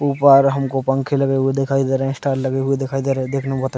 ऊपर हमको पंखे लगे हुए दिखाई दे रहे है स्टार लगे हुए दिखाई दे रहे है देखने में बहोत --